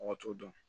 Mɔgɔ t'o dɔn